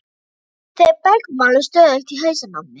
Þau bergmáluðu stöðugt í hausnum á mér.